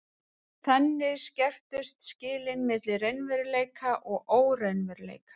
þannig skerptust skilin milli raunveruleika og óraunveruleika